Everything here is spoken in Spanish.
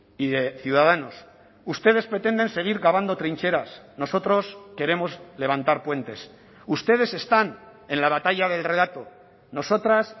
y de ciudadanos ustedes pretenden seguir cavando trincheras nosotros queremos levantar puentes ustedes están en la batalla del relato nosotras